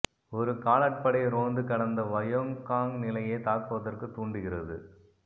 ஒரு காலாட்படை ரோந்து கடந்த வயோங் காங் நிலையை தாக்குவதற்குத் தூண்டுகிறது